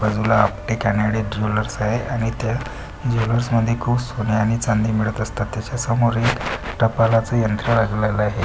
बाजूला आपटे कानडे ज्वेलर्स आहे आणि त्या ज्वेलर्स मध्ये खूप सोने आणि चांदी मिळत असतात. त्याच्यासमोर एक टपालाचं यंत्र लागलेलं आहे.